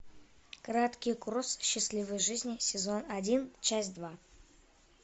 краткий курс счастливой жизни сезон один часть два